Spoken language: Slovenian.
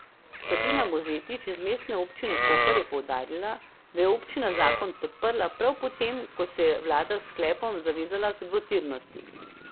Sabina Mozetič iz Mestne občine Koper je poudarila, da je občina zakon podprla prav po tem, ko se je vlada s sklepom zavezala k dvotirnosti.